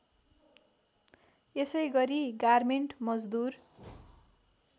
यसैगरी गार्मेन्ट मजदुर